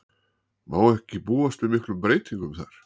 Má ekki búast við miklum breytingum þar?